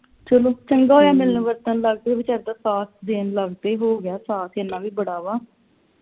ਚਲੋ ਚੰਗਾ ਹੋਇਆ ਮਿਲਣ ਵਰਤਣ ਲੱਗ ਪਏ ਵਿਚਾਰੇ ਦਾ ਸਾਥ ਦੇਣ ਲੱਗ ਪਏ ਹੋ ਗਿਆ ਸਾਥ ਇਨਾਂ ਵੀ ਬੜਾ ਵਾ